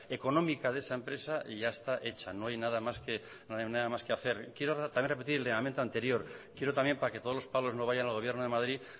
económica de esa empresa ya está hecha no hay nada más que hacer quiero también repetir el anterior quiero también para que todos los palos no vayan al gobierno de madrid